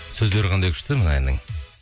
сөздері қандай күшті мына әннің